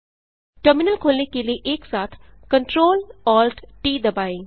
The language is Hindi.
टर्मिनल खोलने के लिए एकसाथ CTRLALTT दबाएँ